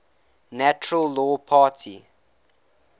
natural law party